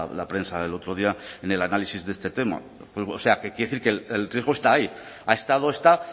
la prensa el otro día en el análisis de este tema o sea que quiero decir que el riesgo está ahí ha estado está